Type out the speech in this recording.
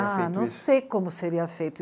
isso? Ah, não sei como seria feito.